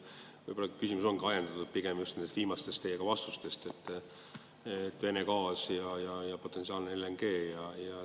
Mu küsimus on aga ajendatud pigem just teie vastustest Vene gaasi kohta ja potentsiaalse LNG kohta.